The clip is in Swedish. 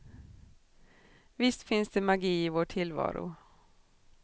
Visst finns det magi i vår tillvaro.